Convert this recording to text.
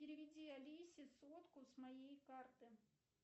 переведи алисе сотку с моей карты